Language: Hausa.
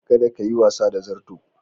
Kada kayi wasa da zarto.